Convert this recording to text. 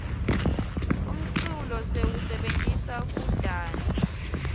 umculo siwusebentisa kudansa